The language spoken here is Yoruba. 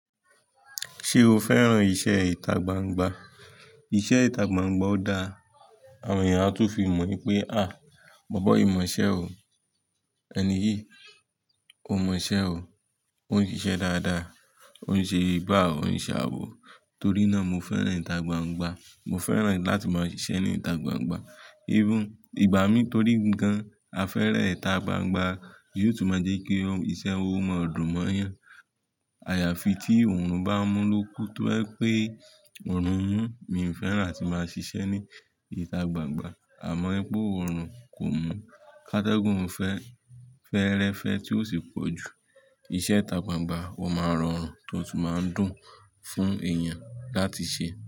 Ṣé o fẹ́ràn iṣẹ́ ìtagbangba? Iṣẹ́ ìtagbangba ó dáa, àwọn ènìyàn a tó fi mọ̀ wípé, bọ̀bọ́ yìí mọ̀ iṣẹ́ o, ẹni yìí, ó mọ̀ iṣẹ́ o, ó ń ṣiṣẹ́ dáadáa, ó ń ṣe gbá òun ṣàwó. Torí náà, mo fẹ́ràn ìtagbangba, mo fẹ́ràn láti máa ṣiṣẹ́ ní ìtagbangba. Irú, ìgbà mí torí gan-an, a fẹ́rẹ̀ ìtagbangba yóò tún máa jẹ́ kí iṣẹ́ owó máa dùn mọ́yàn. Àyàfi tí òrùn bá mú lóku, tó bá jé pé òrùn mú, mi ò fẹ́ràn láti máa ṣiṣẹ́ ní ìtagbangba. Àmọ́ pé òrùn kò mú, kátágùn fẹ́, fẹ́rẹ́fẹ́ tí ó sì pọ̀ jù, iṣẹ́ ìtagbangba ó máa rọrùn tó tún máa ń dùn fún èèyàn láti ṣe.